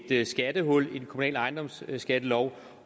et skattehul i den kommunale ejendomsskattelov